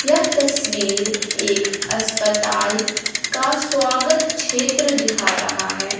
यह तस्वीर एक अस्पताल का स्वागत क्षेत्र दिखा रहा है।